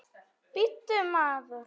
Bíddu, maður!